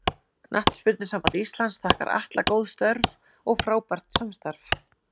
Knattspyrnusamband Íslands þakkar Atla góð störf og frábært samstarf.